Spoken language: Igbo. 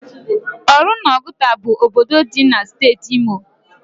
Oru na Oguta bu obodo di na steeti Imo